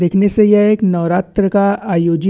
देखने से ये एक नौरात्र का आयोजित --